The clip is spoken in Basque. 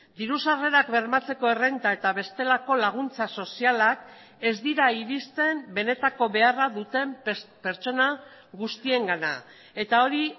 diru sarrerak bermatzeko errenta eta bestelako laguntza sozialak ez dira iristen benetako beharra duten pertsona guztiengana eta hori